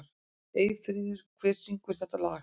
Eyfríður, hver syngur þetta lag?